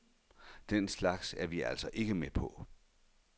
Den slags er vi altså ikke med på.